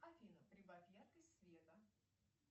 афина прибавь яркость света